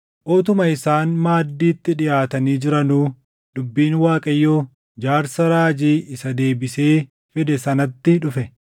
Utuma isaan maaddiitti dhiʼaatanii jiranuu dubbiin Waaqayyoo jaarsa raajii isa deebisee fide sanatti dhufe.